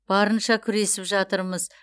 барынша күресіп жатырмыз